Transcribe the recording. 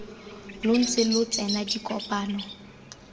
lo ntse lo tsena dikopano